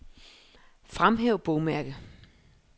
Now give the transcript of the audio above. Fremhæv bogmærke.